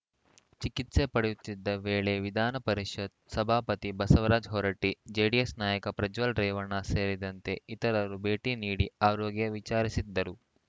ಚಿಕಿತ್ಸೆ ಪಡೆಯುತ್ತಿದ್ದ ವೇಳೆ ವಿಧಾನಪರಿಷತ್‌ ಸಭಾಪತಿ ಬಸವರಾಜ್‌ ಹೊರಟ್ಟಿ ಜೆಡಿಎಸ್‌ ನಾಯಕ ಪ್ರಜ್ವಲ್‌ ರೇವಣ್ಣ ಸೇರಿದಂತೆ ಇತರರು ಭೇಟಿ ನೀಡಿ ಆರೋಗ್ಯ ವಿಚಾರಿಸಿದ್ದರು